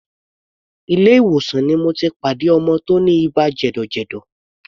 Ilé ìwòsàn ni mo ti pàdé ọmọ tí ó ní ibà jẹ̀dọ̀jẹ̀dọ̀.